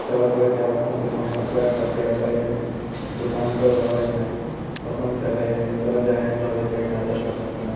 तरह-तरह के आदमी सब यहां कपड़ा खरीदे अबहय हैं दुकान प है पसंद करय है पैसा देय के कपड़ा--